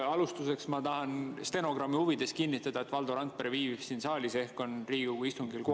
Alustuseks ma tahan stenogrammi huvides kinnitada, et Valdo Randpere viibib siin saalis ehk on Riigikogu istungil kohal.